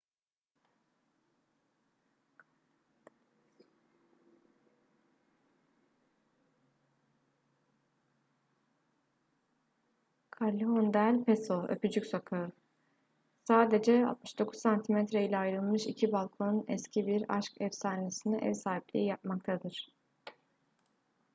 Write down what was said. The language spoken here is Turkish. callejon del beso öpücük sokağı. sadece 69 santimetre ile ayrılmış iki balkon eski bir aşk efsanesine ev sahipliği yapmaktadır